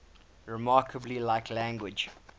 remarkably like language